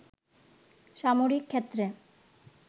সামরিক ক্ষেত্রে